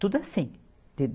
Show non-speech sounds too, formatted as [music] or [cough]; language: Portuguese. Tudo assim. [unintelligible]